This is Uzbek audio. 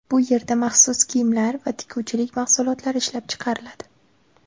Bu yerda maxsus kiyimlar va tikuvchilik mahsulotlari ishlab chiqariladi.